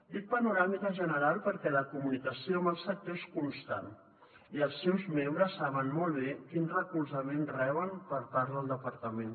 dic panoràmica general perquè la comunicació amb el sector és constant i els seus membres saben molt bé quin recolzament reben per part del departament